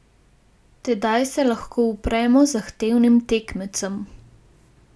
Tedaj se lahko upremo zahtevnim tekmecem.